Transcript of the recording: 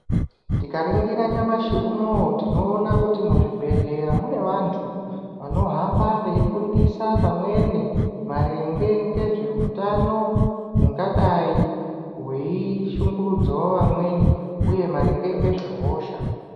Tikaringira nyamashi unoo tinoona kuti muzvivibhehleya mune vantu vanohamba veifundisa pamweni maringe ngezveutano hungadai hweishungurudzawo vamweni, uye maringe ngezvehosha.